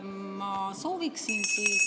Ma sooviksin ...